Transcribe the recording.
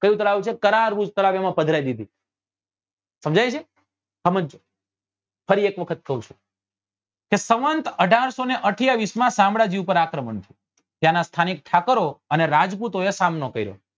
કયું તળાવ છે તો કરાર્વ્રુજ તળાવ એમાં પધરાવી દીધી સમજજો ફરી એક વખત કઉં છું કે સંવંત અઢારસો ને અઠયાવીસ માં શામળાજી પર આક્રમણ થયું ત્યાં નાં સ્થાનિક ઠાકર ઓ અને રાજપૂતો એ સામનો કર્યો